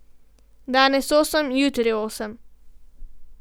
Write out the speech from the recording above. Danes osem, jutri osem.